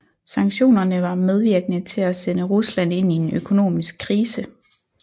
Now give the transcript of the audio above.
Sanktionerne var medvirkende til at sende Rusland ind i en økonomisk krise